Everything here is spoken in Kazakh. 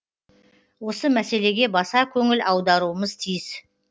осы мәселеге баса көңіл аударуымыз тиіс